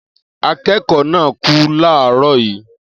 Akẹ́kọ̀ọ́ náà kú láàárọ̀ yìí